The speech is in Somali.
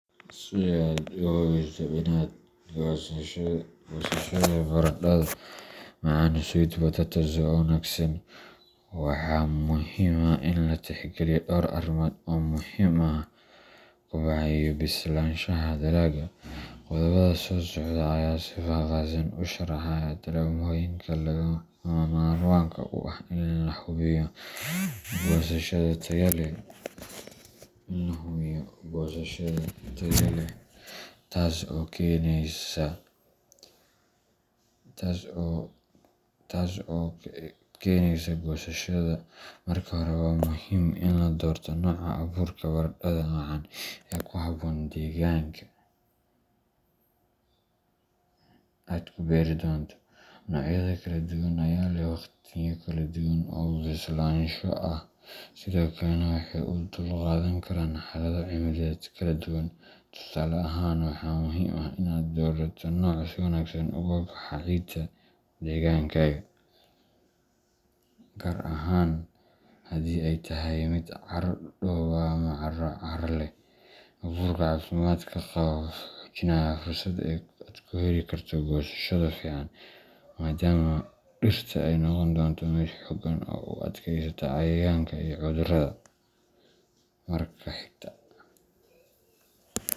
Si aad u hubiso inaad hesho goosashada baradhada macaan sweet potatoes oo wanaagsan, waxaa muhiim ah in la tixgeliyo dhowr arrimood oo muhiim u ah koboca iyo bislaanshaha dalagga. Qodobbada soo socda ayaa si faahfaahsan u sharxaya tallaabooyinka lagama maarmaanka u ah in la hubiyo goosasho tayo leh:Marka hore, waxaa muhiim ah in la doorto nooca abuurka baradhada macaan ee ku habboon deegaanka aad ku beeri doonto. Noocyada kala duwan ayaa leh waqtiyo kala duwan oo bislaansho ah, sidoo kalena waxay u dulqaadan karaan xaalado cimiladeed kala duwan. Tusaale ahaan, waxaa muhiim ah in aad doorato nooc si wanaagsan uga baxa ciidda deegaankaaga, gaar ahaan haddii ay tahay mid carro dhoobo ah ama carro carro leh. Abuurka caafimaad qaba wuxuu xoojinayaa fursadda aad ku heli karto goosasho fiican, maadaama dhirta ay noqon doonto mid xoogan oo u adkaysata cayayaanka iyo cudurrada. Marka xigta.